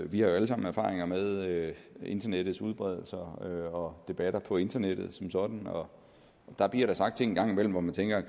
vi har jo alle sammen erfaringer med internettets udbredelse og debatter på internettet som sådan og der bliver sagt ting en gang imellem hvor man tænker